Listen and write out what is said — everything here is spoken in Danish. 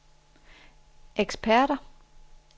eksperter